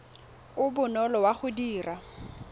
o bonolo wa go dira